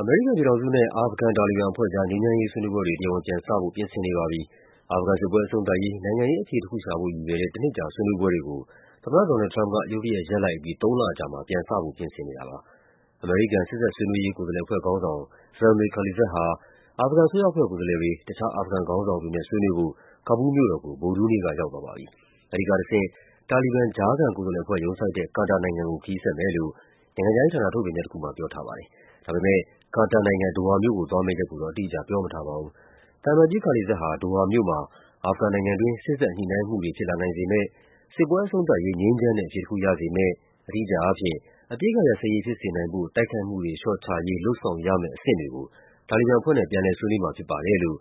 အမေရိကန်ပြည်ထောင်စုနဲ့ အာဖဂန် တာလီဘန်အဖွဲ့ကြား ငြိမ်းချမ်းရေး ဆွေးနွေးပွဲတွေ တရားဝင်ပြန်စဖို့ ပြင်ဆင်နေပါပြီ။ အာဖဂန်စစ်ပွဲ အဆုံးသတ်ရေး နိုင်ငံရေးအဖြေတခု ရှာဖို့ ရည်ရွယ်တဲ့ တနှစ်ကြာ ဆွေးနွေးပွဲတွေကို သမ္မတ ဒေါ်နယ်လ်ဒ် ထရမ့်ပ် က ရုတ်တရက် ရပ်လိုက်အပြီး သုံးလအကြာမှာ ပြန်စဖို့ ပြင်ဆင်နေတာပါ။ အမေရိကန် စေ့စပ်ဆွေးနွေးရေး ကိုယ်စားလှယ်အဖွဲ့ခေါင်းဆောင် Zalmal Khalilzad ဟာ အာဖဂန်အစိုးရအဖွဲ့ ကိုယ်စားလှယ် တွေ၊ တခြား အာဖဂန်ခေါင်းဆောင်တွေနဲ့ ဆွေးနွေးဖို့ ကာဘူးလ်မြို့တော်ကို ဗုဒ္ဓဟူးနေ့က ရောက်သွားပါပြီ။ အဲဒီကတဆင့် တာလီဘန် ကြားခံကိုယ်စားလှယ်အဖွဲ့ ရုံးစိုက်တဲ့ ကာတာနိုင်ငံကို ခရီးဆက်မယ်လို့ နိုင်ငံခြားရေးဌာန ထုတ်ပြန်ချက်တခုမှာ ပြော ထားပါတယ်။ ဒါပေမယ့် ကာတာနိုင်ငံ၊ ဒိုဟာမြို့ကို သွားမယ့်ရက်ကိုတော့ အတိအကျ ပြောမထားပါဘူး။ “သံအမတ်ကြီး Khalilzad ဟာ ဒိုဟာမြို့မှာ အာဖဂန်နိုင်ငံတွင်း စေ့စပ်ညှိနှိုင်းမှုတွေ ဖြစ်လာနိုင်စေမယ့်၊ စစ်ပွဲအဆုံးသတ်ရေး ငြိမ်းချမ်းတဲ့ အဖြေတခုရစေမယ့်၊ အတိအကျအားဖြင့် အပစ်အခတ်ရပ်စဲရေး ဖြစ်စေနိုင်ဖို့ တိုက်ခိုက်မှုတွေ လျှော့ချရေး လုပ်ဆောင် ရမယ့်အဆင့်တွေကို တာလီဘန်အဖွဲ့နဲ့ ပြန်လည်ဆွေးနွေးမှာဖြစ်ပါတယ်” လို့